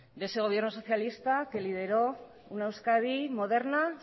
de ese gobierno socialista que lideró una euskadi moderna